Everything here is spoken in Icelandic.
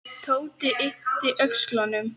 Tóti yppti öxlum.